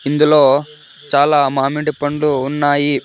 ఇందులో చాలా మామిండి పండ్లు ఉన్నాయి.